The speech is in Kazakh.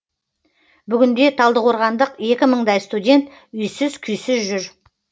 бүгінде талдықорғандық екі мыңдай студент үйсіз күйсіз жүр